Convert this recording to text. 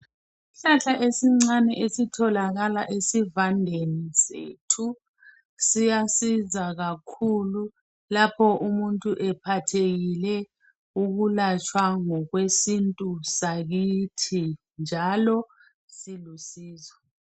isihlahla esincane esitholakala esivandeni sethu siyasiza kakhulu lapho umuntu ephathekile ukulatshwa ngokwesintu sakithi njalo silusizo